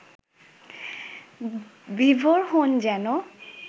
বিভোর হন যেনো